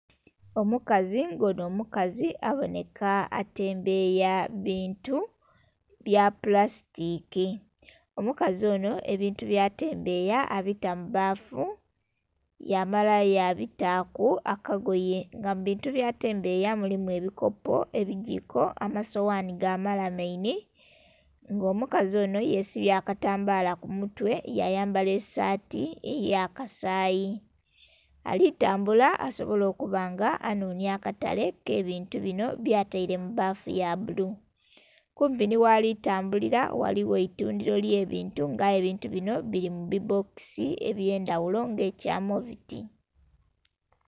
Omukazi nga ono mukazi aboneka atembeya bintu byapulasitiki, omukazi ono ebintu byatembeya abita mubbafu yamala yabitaku akagoye nga mubintu byatembeya mulimu ebikopo, ebigiko, amasowani gamalamaini nga omukazi ono yesibye akatambala kumutwe yayambala esaati eyakasayi alitambula asobole okubanga anhonya akatale akebintu bino byataire mubbafu yabbulu. Kumpi nighalitambuli ghaligho eitundiro ery'ebintu nga aye ebintu bino biri mubibbokisi ebyendhaghulo nga ekyamoviti.